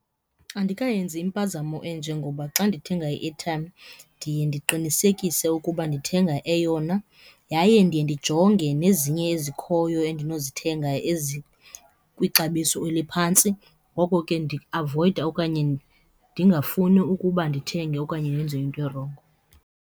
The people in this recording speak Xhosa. Andikayenzi impazamo enje ngoba xa ndithenga i-airtime ndiye ndiqinisekise ukuba ndithenga eyona yaye ndiye ndijonge nezinye ezikhoyo andinozithenga ezikwixabiso eliphantsi. Ngoko ke ndiavoyida okanye ndingafuni ukuba ndithenge okanye ndenze into erongo.